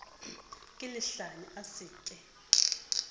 ke lehlanya a se ke